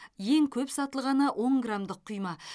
ең көп сатылғаны он грамдық құйма